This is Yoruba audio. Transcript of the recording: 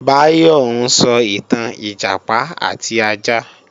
Báyọ̀ ń sọ ìtàn Ìjàpá àti ajá